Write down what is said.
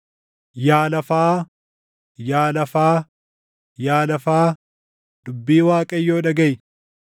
Yaa lafaa, yaa lafaa, yaa lafaa, dubbii Waaqayyoo dhagaʼi!